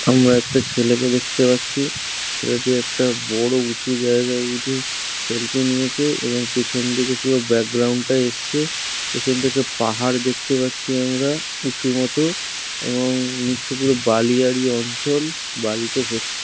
আমরা একটা ছেলেকে দেখতে পাচ্ছি ছেলেটি একটা বড় উঁচু জায়গায় উঠে সেলফি নিয়েছে এবং পেছনদিকে পুরো ব্যাকগ্রাউন্ড টা এসছে। পেছন দিকে পাহাড় দেখতে পাচ্ছি আমরা উঁচু মত এবং নিচে পুরো বালিয়াড়ি অঞ্চল বালিতে ভর্তি।